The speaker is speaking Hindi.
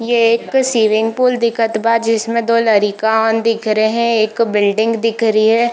ये एक स्विमिंग पूल दिखत बा जिसमें दो लड़िकान दिख रहे एक बिल्डिंग दिख रही है।